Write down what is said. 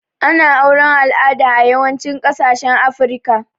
Ana auren alada a yawancin kasashen afrika